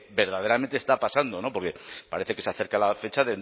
verdaderamente está pasando no porque parece que se acerca la fecha